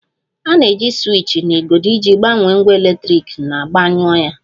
A na-eji siwiich na igodo iji gbanye ngwa eletriki na gbanyụọ ya